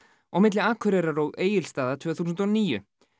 og milli Akureyrar og Egilsstaða tvö þúsund og níu